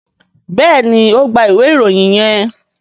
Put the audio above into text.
béèni o gbà ìwé Ìròyìn yén.